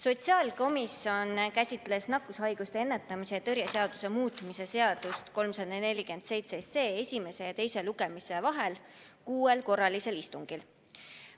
Sotsiaalkomisjon käsitles nakkushaiguste ennetamise ja tõrje seaduse muutmist ehk eelnõu 347 esimese ja teise lugemise vahel kuuel korralisel istungil.